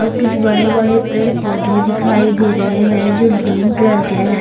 और कुछ बड़े बड़े पेड़ पौधे दिखाई दे रहे हैं जो ग्रीन कलर के हैं।